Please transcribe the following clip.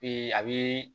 a bɛ